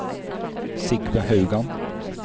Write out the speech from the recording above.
Sigve Haugan